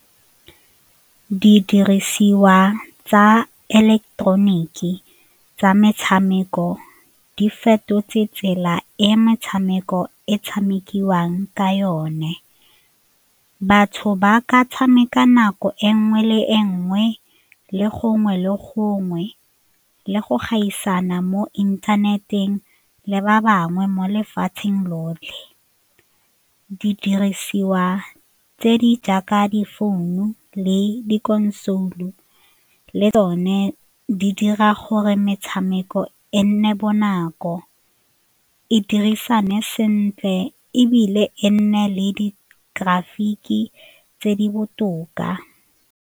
Didirisiwa tsa ileketeroniki tsa metshameko di fetotse tsela e metshameko e tshamekiwang ka yone, batho ba ka tshameka nako e nngwe le e nngwe le gongwe le gongwe le go gaisana mo inthaneteng le ba bangwe mo lefatsheng lotlhe. Didirisiwa tse di jaaka difounu le di-console-u le tsone di dira gore metshameko e nne bonako, e dirisane sentle ebile e nne le di-traffic-ke tse di botoka.